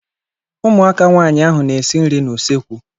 Ụmụaka nwaanyị ahụ na-esi nri n'usekwu.